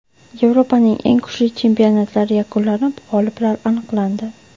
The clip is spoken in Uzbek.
Yevropaning eng kuchli chempionatlari yakunlanib, g‘oliblar aniqlandi.